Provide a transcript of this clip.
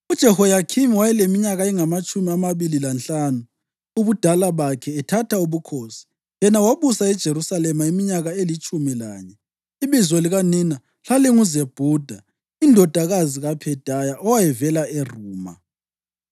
UJehoyakhimi wayeleminyaka engamatshumi amabili lanhlanu ubudala bakhe ethatha ubukhosi, yena wabusa eJerusalema iminyaka elitshumi lanye. Ibizo likanina lalinguZebhuda indodakazi kaPhedaya owayevela eRuma.